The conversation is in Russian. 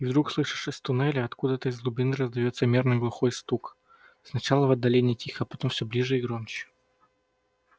и вдруг слышишь из туннеля откуда-то из глубины раздаётся мерный глухой стук сначала в отдалении тихо а потом все ближе и громче